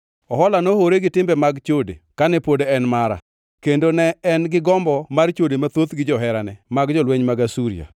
“Ohola nohore gi timbe mag chode kane pod en mara; kendo ne en gombo mar chode mathoth gi joherane ma jolweny mag Asuria;